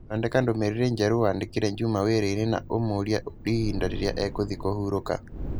Thondeka ndũmĩrĩri njerũ wandĩkĩre Juma wĩra-inĩ na ũmũũria ihinda rĩrĩa ekũthĩĩ kũhurũka.